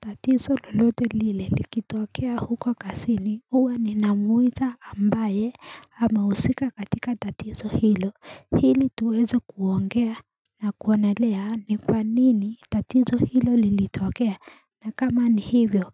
Tatizo lolote lile likitokea huko kasini huwa ni na muita ambaye ama usika katika tatizo hilo hili tuweze kuongea na kuonelea ni kwa nini tatizo hilo lilitokea na kama ni hivyo